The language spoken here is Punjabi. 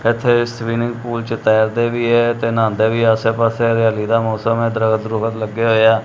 ਇੱਥੇ ਸਵੀਮਿੰਗ ਪੂਲ 'ਚ ਤੈਰਦੇ ਵੀ ਐ ਤੇ ਨਹਾਂਦੇਂ ਵੀ ਐ ਆਸੇ ਪਾੱਸੇ ਹਰਿਆਲੀ ਦਾ ਮੌਸਮ ਐ ਦਰਖਤ ਦਰੁਖਤ ਲੱਗੇ ਹੋਏ ਆ।